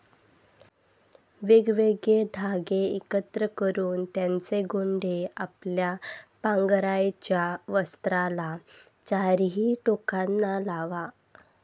वेगवेगळे धागे एकत्र करुन त्यांचे गोंडे आपल्या पांघरायच्या वस्त्राला चारीही टोकांना लावा.